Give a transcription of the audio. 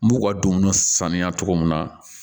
N b'u ka dumuni saniya cogo min na